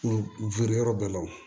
N weele yɔrɔ bɛɛ la o